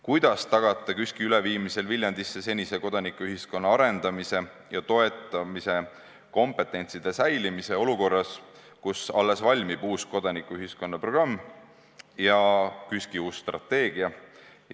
Kuidas tagate KÜSK-i üleviimisel Viljandisse senise kodanikuühiskonna arendamise ja toetamise kompetentsi säilimise olukorras, kus uus kodanikuühiskonna programm ja KÜSK-i uus strateegia on alles valmimas?